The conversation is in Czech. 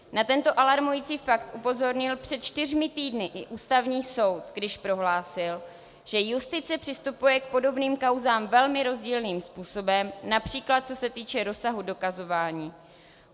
Na tento alarmující fakt upozornil před čtyřmi týdny i Ústavní soud, když prohlásil, že justice přistupuje k podobným kauzám velmi rozdílným způsobem, například co se týče rozsahu dokazování.